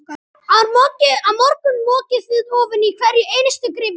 Á morgun mokið þið ofan í hverja einustu gryfju.